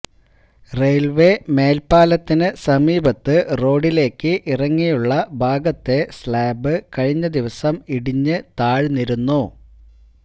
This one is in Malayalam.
റെയില്വേ മേല്പ്പാലത്തിന് സമീപത്ത് റോഡിലേക്ക് ഇറങ്ങിയുള്ള ഭാഗത്തെ സ്ലാബ് കഴിഞ്ഞ ദിവസം ഇടിഞ്ഞ് താഴ്ന്നിരുന്നു